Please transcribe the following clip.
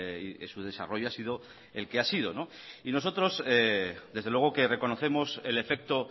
y su desarrollo ha sido el que ha sido y nosotros desde luego que reconocemos el efecto